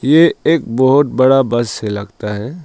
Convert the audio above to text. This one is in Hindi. ये एक बहुत बड़ा बस लगता है।